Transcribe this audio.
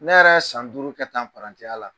Ne yɛrɛ ye san duuru kɛ tan parantiya la.